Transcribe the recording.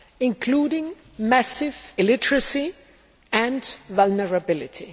including massive illiteracy and vulnerability.